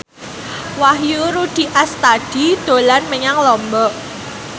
Wahyu Rudi Astadi dolan menyang Lombok